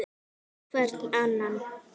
Hvern annan!